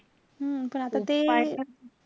हम्म पण आता ते,